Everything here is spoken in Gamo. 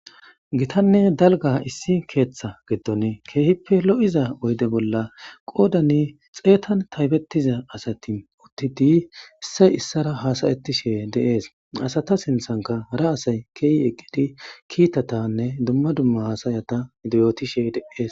Gitanne dalgga issi keeththa giddon kehippe lo'iza oyde bolla qoodan xeetan taybetiza asati uttidi issay issara haasa'ishe de'es. Ha asata sinththankka hara asay ke'i eqqidi kiitatanne dumma dumma haasayata yootishe de'es.